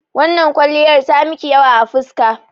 Wannan kwalliyar ta miki yawa a fuska.